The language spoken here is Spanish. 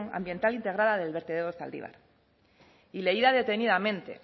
ambiental integrada del vertedero de zaldívar y leída detenidamente